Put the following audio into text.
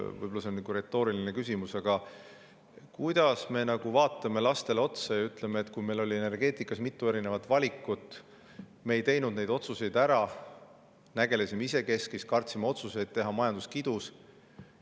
Võib-olla see on retooriline küsimus, aga kuidas me vaatame lastele otsa ja ütleme neile, et kui meil oli energeetikas mitu valikut, siis me ei teinud otsuseid ära, vaid nägelesime isekeskis, kartsime otsuseid teha, ja majandus kidus?